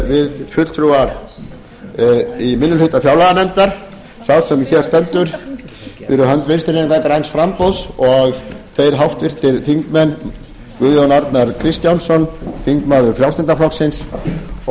við fulltrúar í minni hluta fjárlaganefndar sá sem hér stendur fyrir hönd vinstri hreyfingarinnar græns framboðs og þeir háttvirtir þingmenn guðjón arnar kristjánsson þingmaður frjálslynda flokksins og